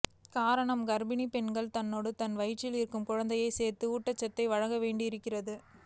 காரணம் கர்ப்பிணி பெண் தன்னோடு தன் வயிற்றில் இருக்கும் குழந்தைக்கும் சேர்த்து ஊட்டச்சத்தை வழங்க வேண்டியிருக்கிறது